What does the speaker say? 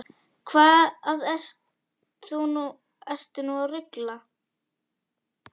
Hvað ertu nú að rugla!